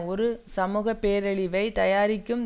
ஒரு சமூக பேரழிவை தயாரிக்கும்